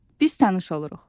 Biz tanış oluruq.